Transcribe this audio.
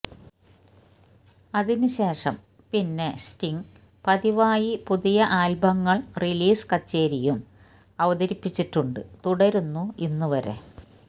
അതിനുശേഷം പിന്നെ സ്റ്റിംഗ് പതിവായി പുതിയ ആൽബങ്ങൾ റിലീസ് കച്ചേരിയും അവതരിപ്പിച്ചിട്ടുണ്ട് തുടരുന്നു ഇന്ന് വരെ